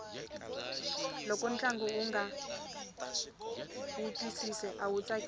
loko ntlangu unga wu twisisi awu tsakisi